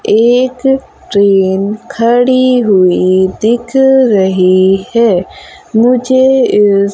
एक ट्रेन खड़ी हुई दिख रही है मुझे इस--